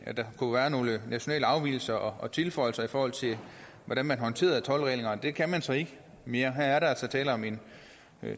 at der kunne være nogle nationale afvigelser og tilføjelser i forhold til hvordan man håndterede toldreglerne men det kan man så ikke mere her er der altså tale om en